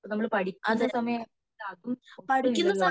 നമ്മൾ പഠിക്കുന്ന സമയത് അത് ഒട്ടും ഇല്ലാലോ